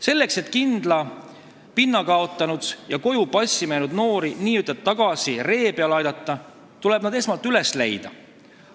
Selleks et kindla pinna kaotanud ja koju passima jäänud noori tagasi ree peale aidata, tuleb nad esmalt üles leida.